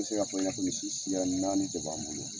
bɛ se ka fɔ ɲɛna ko misi siya naani de b'an bolo.